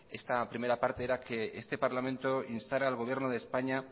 esta primera parte era que este parlamento instara al gobierno de españa